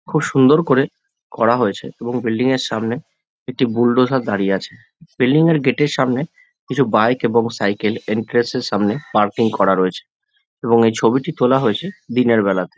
খুব সুন্দর করে করা হয়েছে এবং বিল্ডিং -এর সামনে একটি বুলডোজার দাঁড়িয়ে আছে বিল্ডিং -এর গেট - এর সামনে কিছু বাইক এবং সাইকেল ইনট্রাসের সামনে পার্কিং করা রয়েছে এবং এই ছবিটি তোলা হয়েছে দিনের বেলাটাতে।